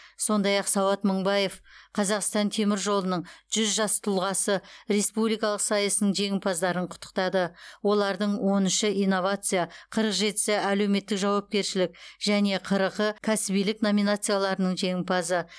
сондай ақ сауат мыңбаев қазақстан темір жолының жүз жас тұлғасы республикалық сайысының жеңімпаздарын құттықтады олардың он үші инновация қырық жетісі әлеуметтік жауапкершілік және қырқы кәсібилік номинацияларының жеңімпазы